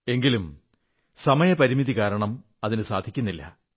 എങ്കിലും സമയപരിമിതി കാരണം അതിനു സാധിക്കുന്നില്ല